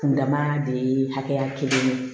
Kun dama de ye hakɛya kelen ye